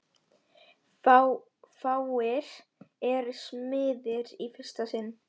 Fáir eru smiðir í fyrsta sinn.